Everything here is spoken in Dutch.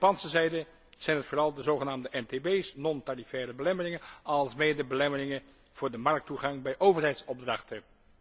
Aan Japanse zijde zijn het vooral de zogenaamde NTB's, non tarifaire belemmeringen, alsmede belemmeringen voor de markttoegang bij overheidsopdrachten.